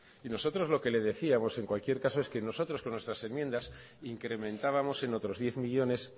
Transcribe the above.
y nosotros lo que le decíamos en cualquier caso es que nosotros con nuestras enmiendas incrementábamos en otros diez millónes